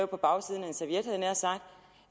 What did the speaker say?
på bagsiden